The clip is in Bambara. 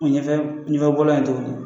ɲɛfɛ ɲɛfɛbɔlan .